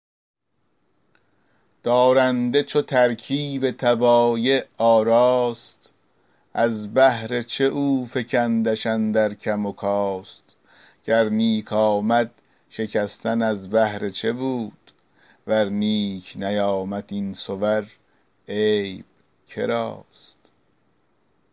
دارنده چو ترکیب طبایع آراست از بهر چه افکندش اندر کم و کاست گر نیک آمد شکستن از بهر چه بود ور نیک نیامد این صور عیب که راست